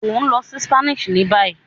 O n lọ sí Spain ní bayi